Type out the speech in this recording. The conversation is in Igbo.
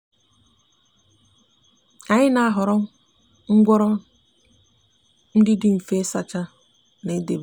anyi n'ahoro ngworo ndi di nfe isacha na idebe.